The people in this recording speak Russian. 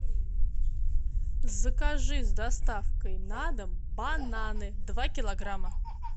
закажи с доставкой на дом бананы два килограмма